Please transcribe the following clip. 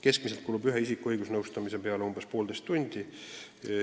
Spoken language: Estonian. Keskmiselt kulub ühe isiku õigusnõustamise peale umbes poolteist tundi.